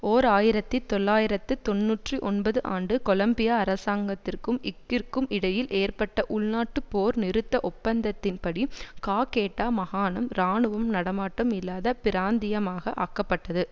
ஓர் ஆயிரத்தி தொள்ளாயிரத்து தொன்னூற்றி ஒன்பது ஆண்டு கொலம்பியா அரசாங்கத்திற்கும் க்கிற்கும் இடையில் ஏற்பட்ட உள்நாட்டுப் போர் நிறுத்த ஒப்பந்தத்தின்படி காகேட்டா மகாணம் இராணுவ நடமாட்டம் இல்லாத பிராந்தியமாக ஆக்கப்பட்டது